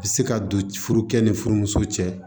Bɛ se ka don furu kɛ ni furumuso cɛ